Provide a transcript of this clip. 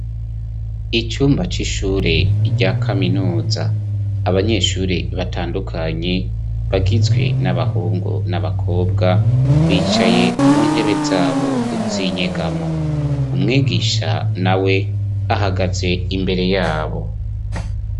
Icumba c'ishure rya kaminuza abanyeshure batandukanye bagizwe n'abahungu n'abakobwa bicaye mu ntebe zabo uzinyegamo umwegisha na we ahagaze imbere yabo.